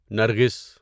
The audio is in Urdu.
نرگھس